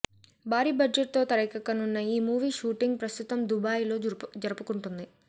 భారీ బడ్జెట్ తో తెరకెక్కుతున్న ఈ మూవీ షూటింగ్ ప్రస్తుతం దుబాయ్ లో జరుపుకుంటుంది